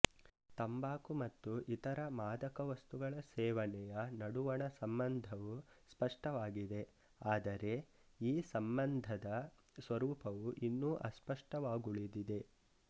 ತಂಬಾಕು ಮತ್ತು ಇತರ ಮಾದಕ ವಸ್ತುಗಳ ಸೇವನೆಯ ನಡುವಣ ಸಂಬಂಧವು ಸ್ಪಷ್ಟವಾಗಿದೆ ಆದರೆ ಈ ಸಂಬಂಧದ ಸ್ವರೂಪವು ಇನ್ನೂ ಅಸ್ಪಷ್ಟವಾಗುಳಿದಿದೆ